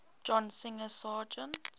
john singer sargent